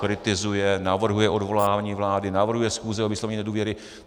Kritizuje, navrhuje odvolání vlády, navrhuje schůze o vyslovení nedůvěry.